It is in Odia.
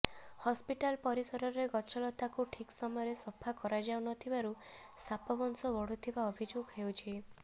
ହସ୍ପିଟାଲ ପରିସରରେ ଗଛଲତାକୁ ଠିକ୍ ସମୟରେ ସଫା କରାଯାଉ ନ ଥିବାରୁ ସାପ ବଂଶ ବଢ଼ୁଥିବା ଅଭିଯୋଗ ହେଉଛି